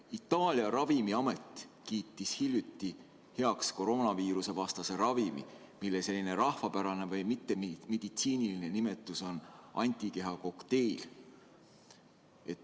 Itaalia ravimiamet kiitis hiljuti heaks kroonaviirusevastase ravimi, mille rahvapärane või mittemeditsiiniline nimetus on antikehakokteil.